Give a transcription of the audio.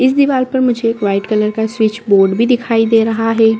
इस दीवार पे मुझे व्हाइट कलर का स्विच बोर्ड भी दिखाई दे रहा है।